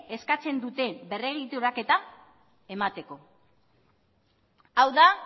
eskatzen duten berregituraketa emateko hau da